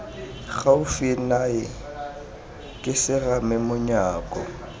gaufi nae ke serame manyako